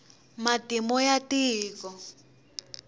matimu ya tiko